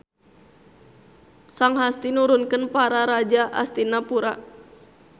Sang Hasti nurunkeun Para Raja Astinapura.